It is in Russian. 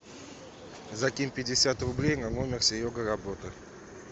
закинь пятьдесят рублей на номер серега работа